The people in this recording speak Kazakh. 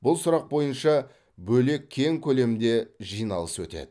бұл сұрақ бойынша бөлек кең көлемде жиналыс өтеді